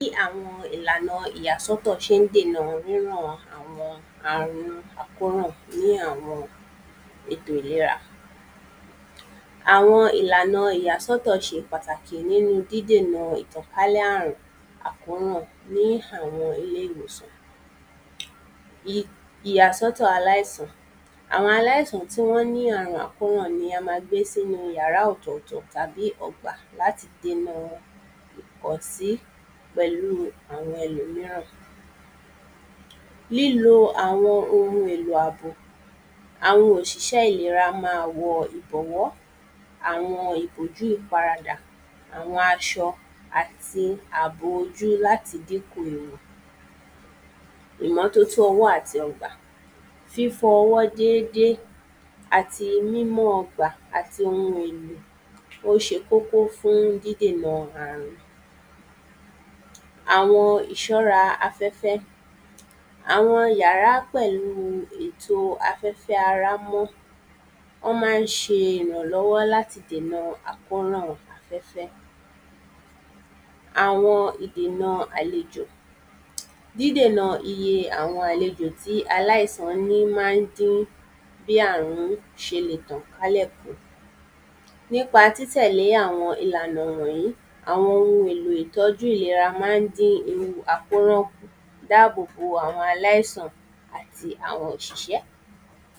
Bí àwọn ìlànà ìyàsọ́tọ̀ ṣé ń dènà ríràn àwọn àrùn àkóràn ní àwọn ètò ìlera àwọn ìlànà ìyàsọ́tọ̀ ṣe pàtàkì nínú dídèna ìtànkálẹ̀ àrùn àkóràn ní àwọn ilé ìwòsàn ìyàsọ́tọ̀ aláìsàn àwọn aláìsàn tí wọ́n ní àrun àkóràn ni a ma gbé sínu yàra ọ̀tọ̀tọ̀ tàbí ọgbà láti déna ìpọ̀sí pẹ̀lúu ẹlòmíràn lílo àwọn ohun àbò àwọn òṣìṣẹ́ ìlera máa lo ìbọ̀wọ́ àwọn ìbòjú ìfaradà àwọn aṣọ àti àbò ojú láti dínkù ìmọ́tótó ọwọ́ àti ọgbà fífọ ọwọ́ dédé àti mímọ́ ọgbà àti ohun èlò ó ṣe kókó fún dídèna àrùn àwọn ìṣọ́ra afẹ́fẹ́ àwọn yàrá pẹ̀lú ètó a fẹ́ kí ara mọ́ ó má ń ṣe ìrànlọ́wọ́ láti dèna àkórùn afẹ́fẹ́ àwọn ìdèna àlejò dídèna iye àwọn àlejò tí aláìsàn ní má ń dín bí àrún ṣe lè tàn kálẹ̀ tó nípa títẹ̀lé àwọn ìlànà wọ̀nyí àwọn ohun èlò ìtọ́jú ìlera má ń dín ewu àkóràn dáàbòbo àwpọn aláìsàn àti àwọn òṣìṣẹ́